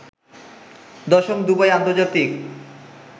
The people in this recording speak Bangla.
১০ম দুবাই আন্তর্জাতিক